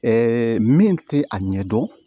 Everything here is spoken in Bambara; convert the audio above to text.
min tɛ a ɲɛ dɔn